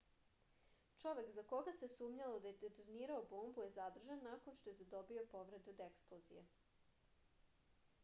čovek za koga se sumnjalo da je detonirao bombu je zadržan nakon što je zadobio povrede od eksplozije